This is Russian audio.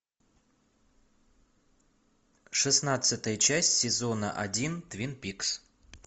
шестнадцатая часть сезона один твин пикс